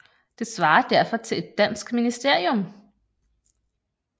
Det svarer derfor til et dansk ministerium